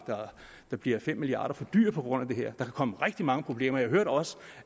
der bliver fem milliard kroner for dyr på grund af det her kan komme rigtig mange problemer jeg hørte også